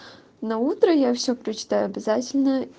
наутро я всё прочитаю обязательно